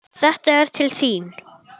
Þetta er til þín